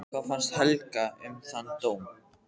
Hvað fannst Helga um þann dóm?